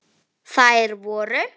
Þær voru